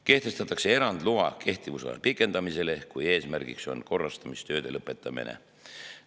Kehtestatakse erand loa kehtivusaja pikendamisele, kui eesmärk on korrastamistööde lõpetamine.